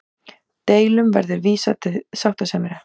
Deilum verði vísað til sáttasemjara